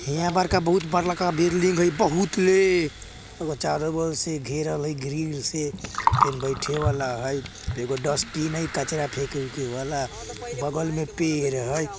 यहाँ बड़का बहुत बड़का बिल्डिंग हैय बहुत ले चारो बगल से घेरल हैय ग्रिल से फिन बैठे वाला हैय एगो डस्टिन हैय कचरा फेके ऊके वाला बगल में पेड़ हैय।